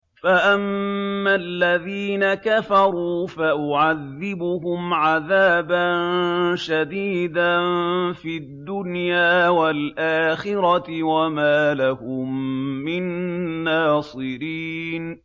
فَأَمَّا الَّذِينَ كَفَرُوا فَأُعَذِّبُهُمْ عَذَابًا شَدِيدًا فِي الدُّنْيَا وَالْآخِرَةِ وَمَا لَهُم مِّن نَّاصِرِينَ